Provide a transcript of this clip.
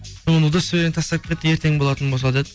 онда удостовренияңды тастап кет ертең болатын болса деді